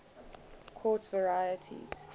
quartz varieties